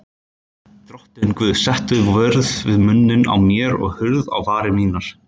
Drottinn Guð, settu vörð við munninn á mér og hurð á varir mínar.